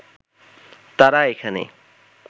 তারা এখানে